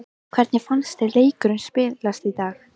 Hvernig fannst þér leikurinn spilast í dag?